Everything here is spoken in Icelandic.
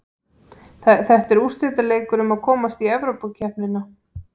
Þetta er úrslitaleikur um að komast Evrópukeppni.